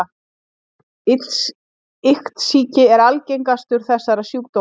Iktsýki er algengastur þessara sjúkdóma.